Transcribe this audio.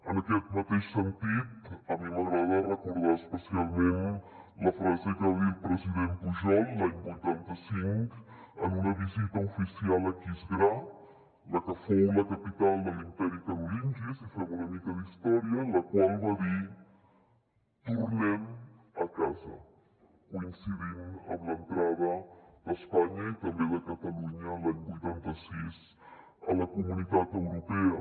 en aquest mateix sentit a mi m’agrada recordar especialment la frase que va dir el president pujol l’any vuitanta cinc en una visita oficial a aquisgrà la que fou la capital de l’imperi carolingi si fem una mica d’història en la qual va dir tornem a casa coincidint amb l’entrada d’espanya i també de catalunya l’any vuitanta sis a la comunitat europea